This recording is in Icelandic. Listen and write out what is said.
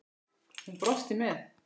Hún brosti með